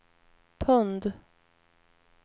pund